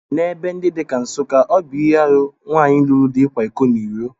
N'ebe ndi dị ka Nsukka, ọ bụ ihe aru nwanyị lụru di ịkwa iko n'iro